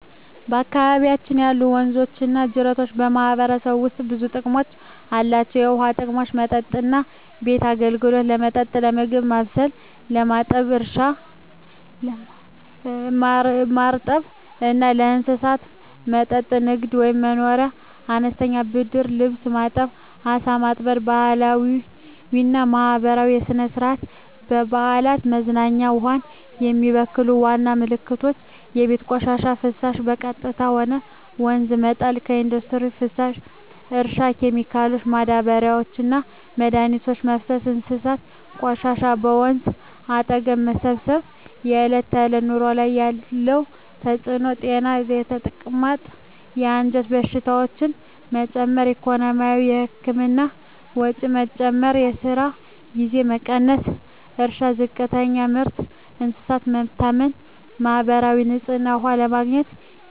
በአካባቢያችን ያሉ ወንዞችና ጅረቶች በማህበረሰቡ ውስጥ ብዙ ጥቅሞች አላቸው፣ የውሃ ጥቅሞች መጠጥና ቤት አገልግሎት – ለመጠጥ፣ ለምግብ ማብሰል፣ ለማጠብ እርሻ – ማርጠብ እና ለእንስሳት መጠጥ ንግድ/መኖርያ – አነስተኛ ንግድ (ልብስ ማጠብ፣ ዓሣ ማጥመድ) ባህላዊና ማህበራዊ – ሥነ-ሥርዓት፣ በዓላት፣ መዝናኛ ውሃን የሚበክሉ ዋና ምክንያቶች የቤት ቆሻሻና ፍሳሽ – በቀጥታ ወደ ወንዝ መጣል ኢንዱስትሪ ፍሳሽ – እርሻ ኬሚካሎች – ማዳበሪያና መድኃኒት መፍሰስ እንስሳት ቆሻሻ – በወንዝ አጠገብ መሰብሰብ በዕለት ተዕለት ኑሮ ላይ ያለ ተጽዕኖ ጤና – የተቅማጥ፣ የአንጀት በሽታዎች መጨመር ኢኮኖሚ – የህክምና ወጪ መጨመር፣ የስራ ጊዜ መቀነስ እርሻ – ዝቅተኛ ምርት፣ እንስሳት መታመም ማህበራዊ – ንጹህ ውሃ ለማግኘት ጊዜና ኃይል መጨመር